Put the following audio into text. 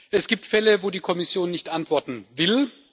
Es gibt Fälle, wo die Kommission nicht antworten will.